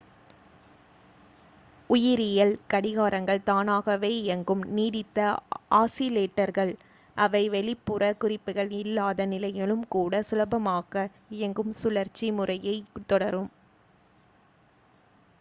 உயிரியல் கடிகாரங்கள் தானாகவே இயங்கும் நீடித்த ஆஸிலேட்டர்கள் அவை வெளிப்புற குறிப்புகள் இல்லாத நிலையிலும் கூட சுலபமாக-இயங்கும் சுழற்சி முறையைத் தொடரும்